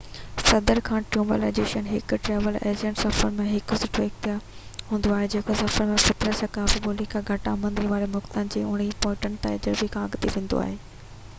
19 صدي کان ٽريول ايجنسيون آهن هڪ ٽريول ايجنٽ سفر جي لاءِ هڪ سٺو اختيار هوندو آهي جيڪو سفر جي فطرت ثقافت ٻولي يا گهٽ آمدني واري ملڪن جي پوئين تجربي کان اڳتي وڌي ٿو